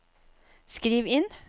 skriv inn